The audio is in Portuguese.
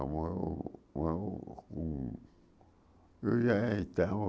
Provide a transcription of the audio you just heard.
Ela morou morou com... Eu já estava...